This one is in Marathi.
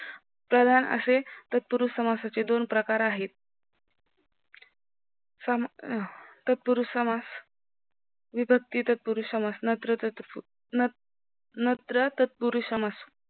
प्रधान असे तत्पुरुस समासाचे दोन प्रकार आहेत, तत्पुरुष समास, विभक्ती तत्पुरुष समास, नत्र तत्पुरुष समास.